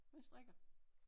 Jeg strikker